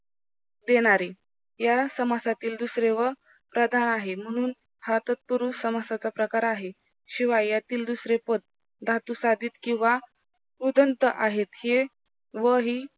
देणारे या समासातील दुसरे व प्रधान आहे म्हणून हा तत्पुरुष समासाचा प्रकार आहे शिवाय यातील दुसरे पद धातुसाधित किव्हा उदंत आहेत हे व ही